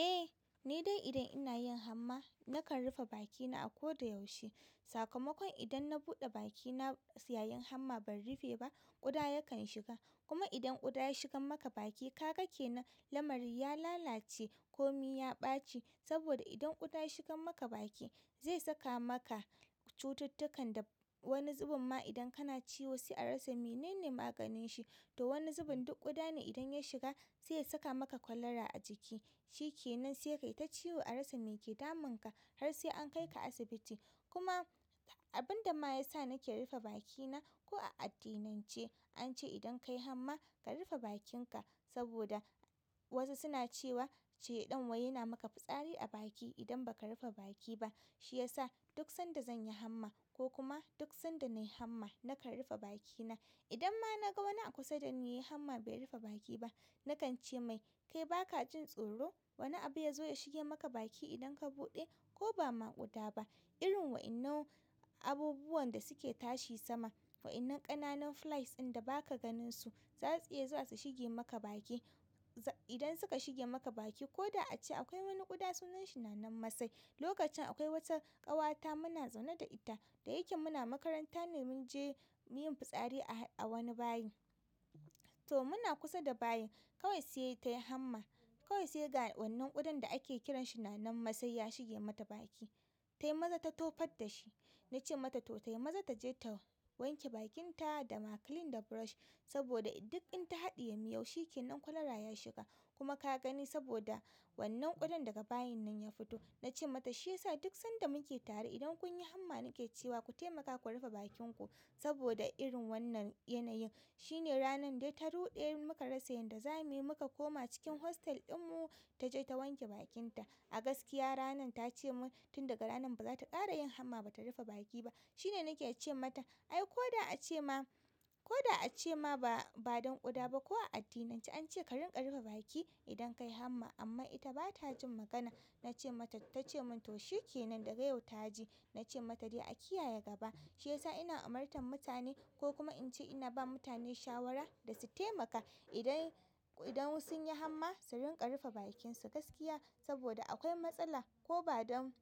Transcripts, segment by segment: Eh, ni dai idan ina yin hamma nakan rufe bakina a ko da yaushe. Sakamakon idan na buɗe bakina yayin hamma ban rufe ba, ƙuda yakan shiga. Kuma idan ƙuda ya shiga maka baki, kaga kenan lamari ya lalace komi ya ɓaci. Saboda idan ƙuda ya shigan maka baki, zai saka maka cututtukan da wani zubin ma idan kana ciwo sai a rasa menene maganin shi. To wani zubin duk ƙuda ne idan ya shiga, sai ya saka maka kwalara a jiki. Shi ke nan sai ka yi ta ciwo a rasa me ke damunka har sai an kai ka asibiti. Kuma abin da ma ya sa nake rufe bakina ko a addinin ce, an ce idan kayi hamma ka rufe bakinka saboda wasu suna cewa shaiɗan wai yana maka fitsari a baki idan ba ka rufe baki ba. Shi ya sa duk sanda zan yi hamma ko kuma duk sanda nayi hamma nakan rufe bakina. Idan ma na ga wani a kusa da ni yayi hamma bai rufe baki ba, nakan ce mai "Kai baka jin tsoro? Wane abu ya zo ya shige maka baki idan ka buɗe ko ba ma ƙuda ba?" Irin waɗannan abubuwan da suke tashi sama, wa'innan ƙananan flies inda ba ka ganin su, za su iya zuwa su shige maka baki. Idan suka shige maka baki koda a ce akwai wani ƙuda sunan shi nanan masai. Lokacin akwai wata ƙawata muna zaune da ita, da yake muna makaranta ne mun je yin fitsari a wani bayi. To muna kusa da bayi, kawai sai tayi hamma. Kawai sai ga wannan ƙudan da ake kiran shi nanan-masai ya shige mata baki. Tai maza ta tofa dashi. Na ce mata to tai maza taje ta wanke bakinta da maclean da brush, saboda duk in ta haɗiye miyau shikenan kwalara ya shiga. Kuma ka gani saboda wannan ƙudan daga bayin nan ya fito. Na ce mata shi ya sa duk sanda muke tare idan kun yi hamma nake cewa ku taimaka ku rufe bakinku saboda irin wannan yanayin. Shi ne ranar dai ta ruɗe muka rasa yayinda zamu yi muka koma cikin hostel ɗinmu ta je ta wanke bakinta. A gaskiya ranar ta ce mun tun daga ranan ba za ta ƙara yin hamma ba ta rufe baki ba. Shi ne nake ce mata ai ko a ce ma, ko a ce ma ba don ƙuda ba ko a addinin ce an ce ka rinƙa rufe baki idan kayi hamma amma ita bata jin magana. Na ce mata, ta ce mun, "to shikenan daga yau ta ji." Na ce mata dai a kiyaye gaba. Shi ya sa ina umartan mutane ko kuma in ce ina ba mutane shawara da su taimaka idan, idan sun yi hamma su rinƙa rufe bakinsu gaskiya saboda akwai matsala ko ba don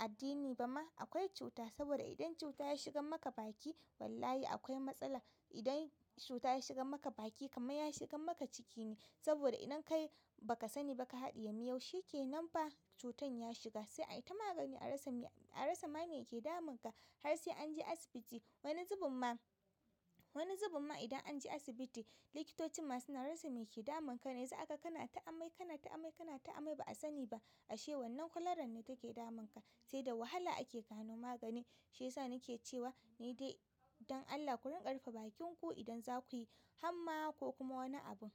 addini ba ma akwai cuta. Saboda idan cuta ya shigan maka baki wallahi akwai matsala. Idan cuta ya shigan maka baki kamar ya shigan maka ciki ne. Saboda idan kai baka sani ba ka haɗiye miyau shikenan fa cutan ya shiga. Sai a yi ta magani, a rasa me, a rasa ma me ke damunka har sai an je asibiti. Wani zubin ma, wani zubin ma idan an je asibiti likitocin ma suna rasa me ke damunka. Sai aka kana ta amai, kana ta amai, kana ta amai ba a sani ba ashe wannan kwalaran ne take damunka. Sai da wahala ake gano magani. Shi yasa nake cewa ni dai, dan Allah ku rinƙa rufe bakin ki idan za ku yi hamma ko kuma wani abun.